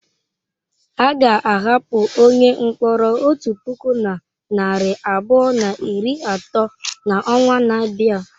A ga-ahapụ onye mkpọrọ otu puku na narị abụọ na iri atọ n'ọnwa na-abịa.